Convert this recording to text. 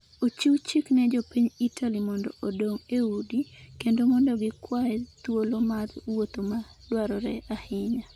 Ochiw chik ne jopiny Italy mondo odong’ e udi, kendo mondo gikwaye thuolo mar wuotho ​​ma dwarore ahinya.